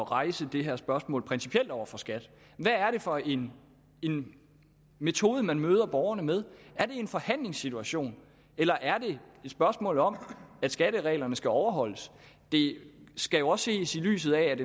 rejse det her spørgsmål principielt over for skat hvad er det for en en metode man møder borgerne med er det en forhandlingssituation eller er det et spørgsmål om at skattereglerne skal overholdes det skal jo også ses i lyset af at